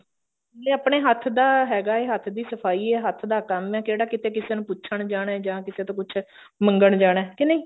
ਨਾਲੇ ਆਪਣਾ ਹੱਥ ਦਾ ਹੈਗਾ ਐ ਹੱਥ ਦੀ ਸਫਾਈ ਐ ਹੱਥ ਦਾ ਕੰਮ ਐ ਕਿਹੜਾ ਕਿਤੇ ਕਿਸੇ ਨੂੰ ਪੁੱਛਣ ਜਾਣਾ ਜਾਂ ਕਿਸੇ ਤੋਂ ਕੁੱਛ ਮੰਗਣ ਜਾਣਾ